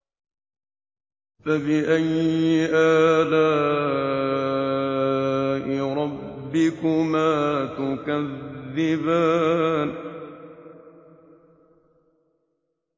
فَبِأَيِّ آلَاءِ رَبِّكُمَا تُكَذِّبَانِ